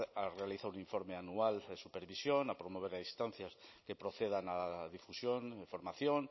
a realizar un informe anual de supervisión a promover a instancias que procedan a la difusión información